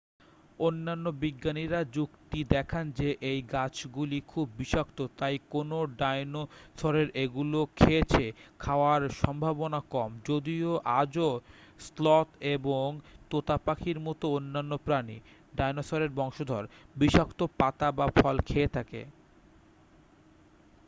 অন্যান্য বিজ্ঞানীরা যুক্তি দেখান যে এই গাছগুলি খুব বিষাক্ত তাই কোনও ডাইনোসরের এগুলো খেয়েছে খাওয়ার সম্ভাবনা কম যদিও আজও স্লথ এবং তোতা পাখির মতো অন্যান্য প্রাণী ডাইনোসরের বংশধর বিষাক্ত পাতা বা ফল খেতে পারে।